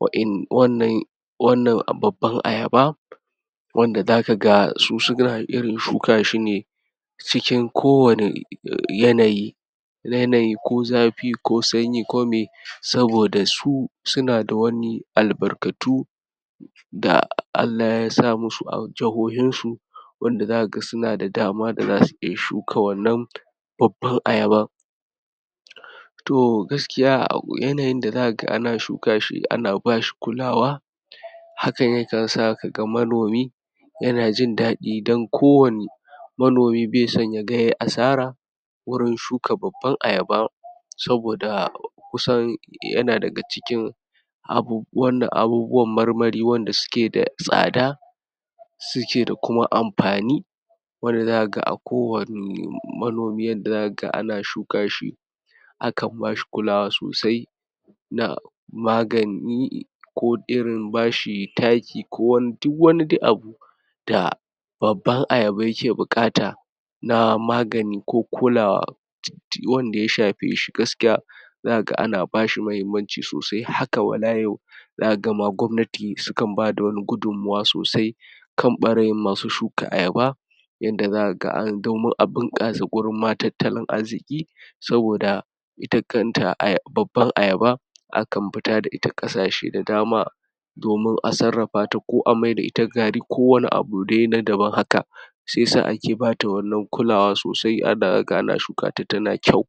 wannan wannan babban ayaba, wanda za ka ga su su na irin shuka shi cikin kowane yanayi, yanayi ko zafi, ko sanyi ko miye, saboda su su na da wani albarkatu da Allah ya sa mas su a jahohinsu, wanda za ka ga su na da dama da za su iya shuka wannan babban ayaban, to gaskiya yanayin da za ka ga ana shuka shi ana ba shi kulawa, hakan yakan sa ka ga manomi ya na jin daɗi don kowane manomi bai son ya ga ya yi asara wurin shuka babban ayaba, saboda kusan ya na daga cikin abubuwan, abubuwan marmari wanda su ke da tsada su ke da kuma amfani, wanda za ka ga a kowane manomi yadda za ka ga ana shuka shi akan ba shi kulawa sosai na magani ko irin ba shi taki ko wani duk wani dai abu da babban ayaba ya ke buƙata na magani ko kulawa, wanda ya shefe shi gaskiya, za ka ga ana ba shi mahimmanci sosai haka wala yau za ka ga ma gwamnati su kan ba da wani gudummuwa sosai kan ɓarayin masu shuka ayaba, yadda za ka ga an domin a bunƙasa gurinma tattalin arziƙi, saboda ita kanta babbar ayaba akan fita da ita ƙasashe da dama domin a sarrafa ta ko amaida ita gari ko wani abu dai na daban haka, shiyasa ake ba ta wannan kulawa sosai da za ka ga ana shuka ta, ta na kyau.